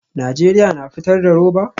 Najeriya na fitar da roba?